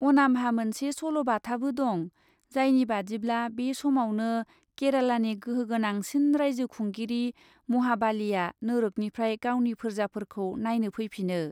अनामहा मोनसे सल'बाथाबो दं, जायनि बादिब्ला, बे समावनो केरालानि गोहोगोनांसिन रायजो खुंगिरि महाबालिआ नोरोखनिफ्राय गावनि फोर्जाफोरखौ नायनो फैफिनो।